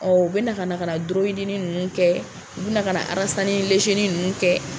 u bɛ na ka kana ninnu kɛ u bɛ na ka ninnu kɛ.